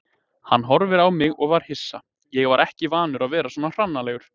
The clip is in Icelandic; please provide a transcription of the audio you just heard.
Hann horfði á mig og var hissa, ég var ekki vanur að vera svona hranalegur.